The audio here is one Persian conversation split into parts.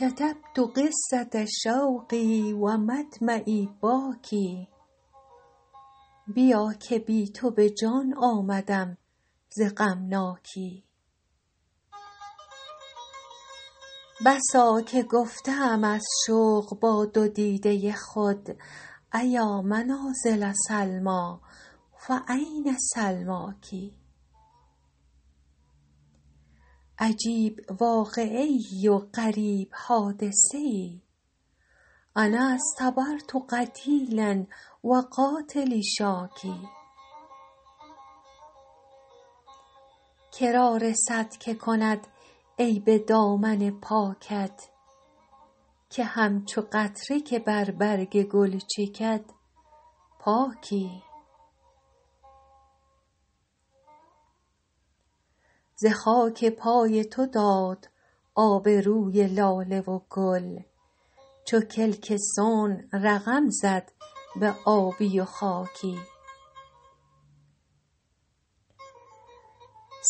کتبت قصة شوقی و مدمعی باکی بیا که بی تو به جان آمدم ز غمناکی بسا که گفته ام از شوق با دو دیده خود أیا منازل سلمیٰ فأین سلماک عجیب واقعه ای و غریب حادثه ای أنا اصطبرت قتیلا و قاتلی شاکی که را رسد که کند عیب دامن پاکت که همچو قطره که بر برگ گل چکد پاکی ز خاک پای تو داد آب روی لاله و گل چو کلک صنع رقم زد به آبی و خاکی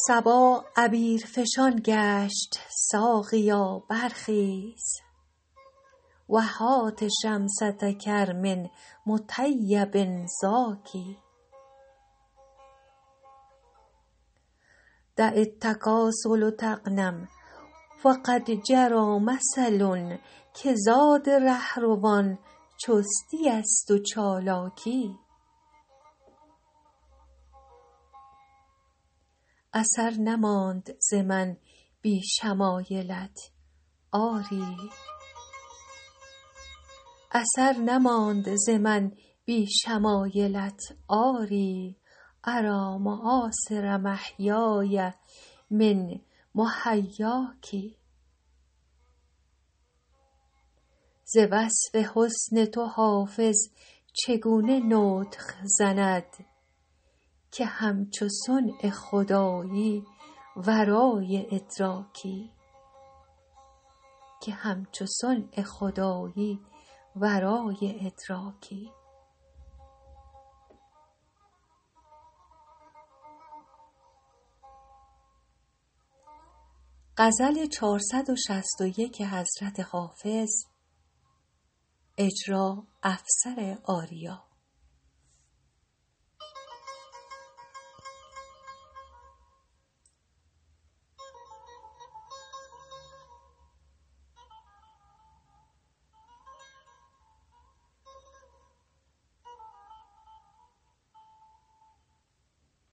صبا عبیرفشان گشت ساقیا برخیز و هات شمسة کرم مطیب زاکی دع التکاسل تغنم فقد جری مثل که زاد راهروان چستی است و چالاکی اثر نماند ز من بی شمایلت آری أری مآثر محیای من محیاک ز وصف حسن تو حافظ چگونه نطق زند که همچو صنع خدایی ورای ادراکی